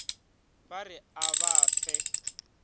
ba re a ba fe